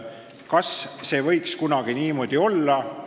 Kas see võiks kunagi niimoodi olla?